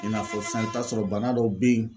I n'a fɔ sisan i bɛ t'a sɔrɔ bana dɔw bɛ yen